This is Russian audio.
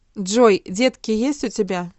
джой детки есть у тебя